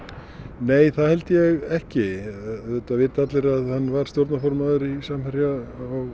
nei það held ég ekki auðvitað vita allir að hann var stjórnarformaður Samherja